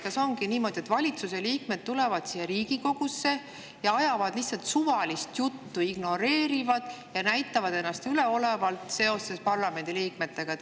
Kas ongi niimoodi, et valitsuse liikmed tulevad siia Riigikogusse ja ajavad lihtsalt suvalist juttu, ignoreerivad ja käituvad parlamendi liikmete suhtes üleolevalt?